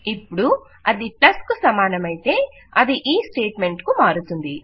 ఇప్పుడు అది ప్లస్ కు సమానమయితే అది ఈ స్టేట్ మెంట్ కు మారుతుంది